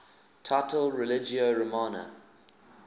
title religio romana